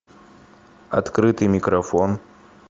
открытый микрофон